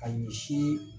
Ka ɲɛsi